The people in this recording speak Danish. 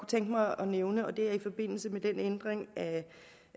tænke mig at nævne og det er i forbindelse med ændringen